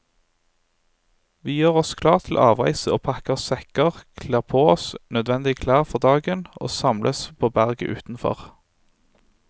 Vi gjør oss klar til avreise og pakker sekker, kler på oss nødvendig klær for dagen og samles på berget utenfor.